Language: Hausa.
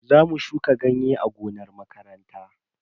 Zamu shuka ganye a gonar makaranta.